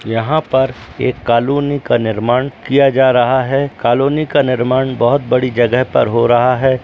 यहाँ पर एक कॉलोनी का निर्माण किया जा रहा है | कॉलोनी का निर्माण बहुत बड़ी जगह पर हो रहा है।